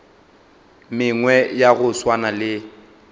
mengwe ya go swana le